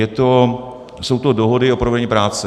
Jsou to dohody o provedení práce.